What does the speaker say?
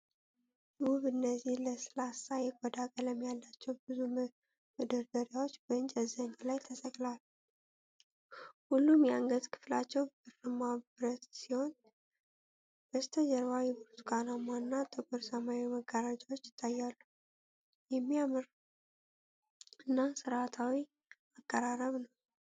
ውብ! እነዚህ ለስላሳ የቆዳ ቀለም ያላቸው ብዙ መደርደሪያዎች በእንጨት ዘንግ ላይ ተሰቅለዋል። ሁሉም የአንገት ክፍላቸው ብርማ ብረት ሲሆን፣ በስተጀርባ የብርቱካናማ እና ጥቁር ሰማያዊ መጋረጃዎች ይታያሉ። የሚያምር እና ሥርዓታማ አቀራረብ ነው!